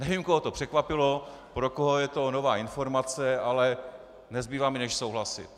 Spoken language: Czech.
Nevím, koho to překvapilo, pro koho je to nová informace, ale nezbývá mi, než souhlasit.